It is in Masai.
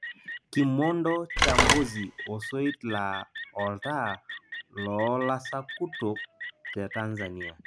Kimondo cha Mbozi osoit laa oltaa loo lasakutok te tanzania